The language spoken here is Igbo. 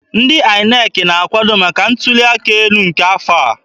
Ndị INEC na-akwado maka ntuli aka elu nke afọ a.